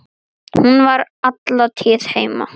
Hún var alla tíð heima.